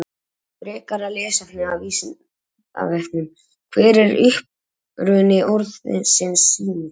Frekara lesefni af Vísindavefnum: Hver er uppruni orðsins sími?